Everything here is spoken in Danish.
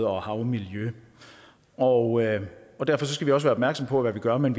og havmiljøer og og derfor skal vi også være opmærksomme på hvad vi gør men